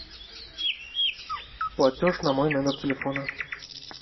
платеж на мой номер телефона